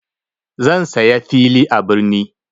Zan saya fili a birni.